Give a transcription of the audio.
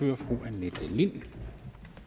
det vil